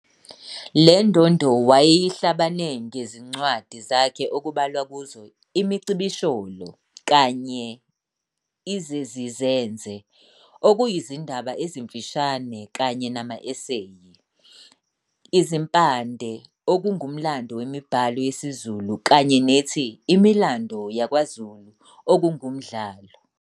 Lendondo wayeyehlabana ngezincwadi zakhe okubalwa kuzo- "Imicibisholo" kanye "Izezizenze" okuyizindaba ezimfishane kanye nama eseyi, "Izimpande" okungumlando wemibhalo yesiZulu, kanye nethi "Imilando YakwaZulu" okungumdlalo.